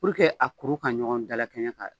Purke a kuru ka ɲɔgɔn dala kɛɲa ka